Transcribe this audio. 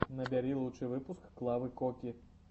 набери лучший выпуск клавы коки